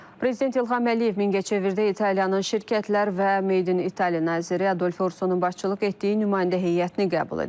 Prezident İlham Əliyev Mingəçevirdə İtaliyanın şirkətlər və Made in Italy naziri Adolfo Ursonun başçılıq etdiyi nümayəndə heyətini qəbul edib.